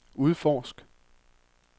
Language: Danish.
udforsk